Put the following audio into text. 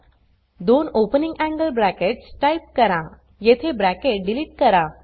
दोन opening angle brackets type करा येथे ब्रॅकेट डिलीट करा